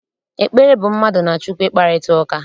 Ekpere bụ mmadụ na Chukwu ịkparịta ụka.